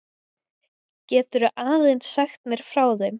Geturðu aðeins sagt mér frá þeim?